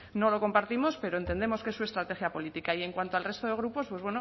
no lo compartimos pero entendemos que es su estrategia política y en cuanto al resto de grupos pues